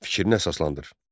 Fikrinə əsaslanır.